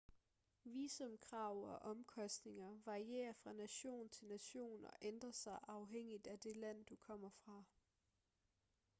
visumkrav og omkostninger varierer fra nation til nation og ændrer sig afhængigt af det land du kommer fra